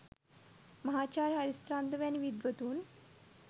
මහාචාර්ය හරිස්චන්ද්‍ර වැනි විද්වතුන්